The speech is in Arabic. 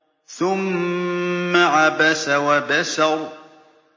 ثُمَّ عَبَسَ وَبَسَرَ